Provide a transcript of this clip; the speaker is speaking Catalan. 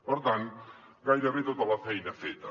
per tant gairebé tota la feina feta